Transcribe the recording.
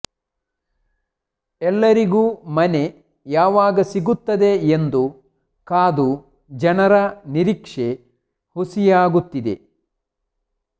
ಎಲ್ಲರಿಗೂ ಮನೆ ಯಾವಾಗ ಸಿಗುತ್ತದೆ ಎಂದು ಕಾದು ಜನರ ನಿರೀಕ್ಷೆ ಹುಸಿಯಾಗುತ್ತಿದೆ